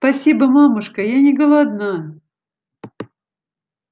спасибо мамушка я не голодна